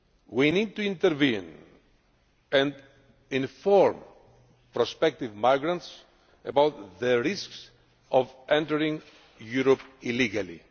We need to intervene and inform prospective migrants about the risks of entering Europe illegally.